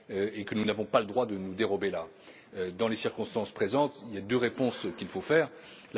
nos opinions et auquel nous n'avons pas le droit de nous dérober. Dans les circonstances présentes, il y a deux réponses